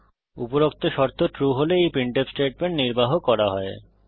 উপরোক্ত শর্ত ট্রু হলে এই প্রিন্টফ স্টেটমেন্ট নির্বাহ করা হয়